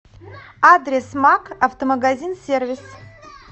адрес макк автомагазин сервис